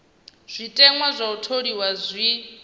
zwiteṅwa zwa u tholiwa zwi